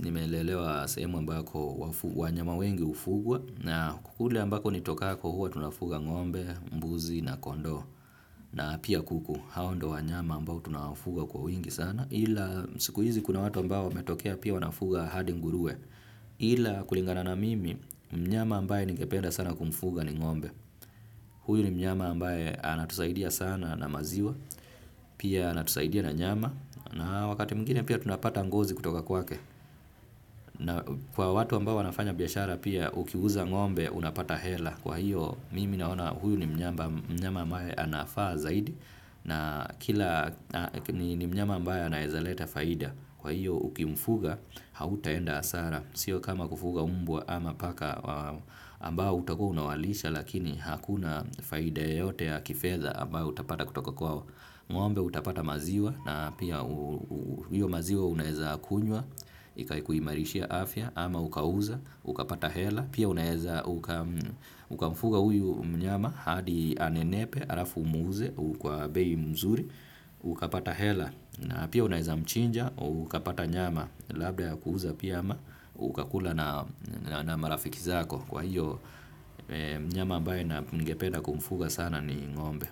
nimelelewa sehemu ambako wanyama wengi hufugwa na kule ambako nitokako huwa tunafuga ng'ombe, mbuzi na kondoo na pia kuku. Hao ndio wanyama ambao tunawafuga kwa wingi sana. Ila siku hizi kuna watu ambao wametokea pia wanafuga hadi nguruwe ila kulingana na mimi, mnyama ambaye ningependa sana kumfuga ni ng'ombe. Huyu ni mnyama ambaye anatusaidia sana na maziwa. Pia anatusaidia na nyama na wakati mwingine pia tunapata ngozi kutoka kwake na kwa watu ambao wanafanya biashara pia, ukiuza ng'ombe unapata hela. Kwahiyo mimi naona huyu ni mnyama ambaye anafaa zaidi na kila ni mnyama ambaye anaweza leta faida. Kwahiyo, ukimfuga hautaenda hasara sio kama kufuga mbwa ama paka ambao utakuwa unawalisha lakini hakuna faida yoyote ya kifedha ambayo utapata kutoka kwao. Ng'ombe utapata maziwa na pia hiyo maziwa unaweza kunywa ikaikuimarishia afya ama ukauza ukapata hela pia unaweza ukamfuga huyu mnyama hadi anenepe halafu umuuze kwa bei nzuri ukapata hela na pia unaweza mchinja ukapata nyama labda ya kuuza pia ama ukakula na marafiki zako. Kwahiyo mnyama ambae ningependa kumfuga sana ni ng'ombe.